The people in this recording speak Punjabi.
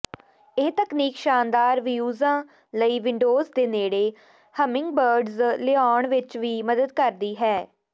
ਇਹ ਤਕਨੀਕ ਸ਼ਾਨਦਾਰ ਵਿਯੂਜ਼ਾਂ ਲਈ ਵਿੰਡੋਜ਼ ਦੇ ਨੇੜੇ ਹਿਮਿੰਗਬ੍ਰਿਡਜ਼ ਲਿਆਉਣ ਵਿੱਚ ਵੀ ਮਦਦ ਕਰਦੀ ਹੈ